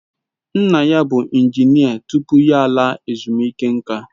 Nna ya bụ injinia tupu ya laa ezumike nka